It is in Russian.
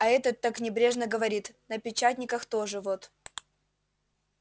а этот так небрежно говорит на печатниках тоже вот